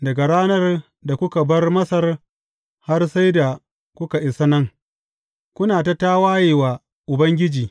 Daga ranar da kuka bar Masar har sai da kuka isa nan, kuna ta tawaye wa Ubangiji.